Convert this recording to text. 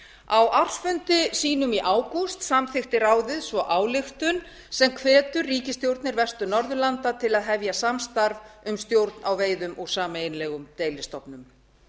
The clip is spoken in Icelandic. á ársfundi sínum í ágúst samþykkti ráðið svo ályktun sem hvetur ríkisstjórnir vestur norðurlanda til að hefja samstarf um stjórn á veiðum úr sameiginlegum deilistofnum